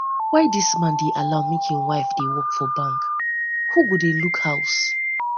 why dis man dey allow make im woman dey work for bank who go dey look house